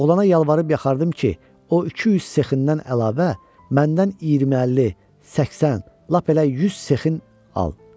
Oğlana yalvarıb yaxardım ki, o 200 sexindən əlavə məndən 20-50, 80, lap elə 100 sexin al.